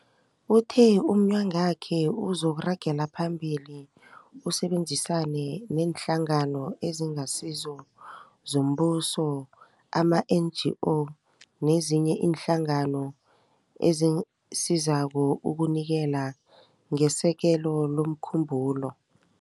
Uthe umnyagwakhe uzokuragela phambili usebenzisane neeNhlangano eziNgasizo zoMbuso, ama-NGO, nezinye iinhlangano ezisizako ukunikela ngesekelo lomkhumbulo.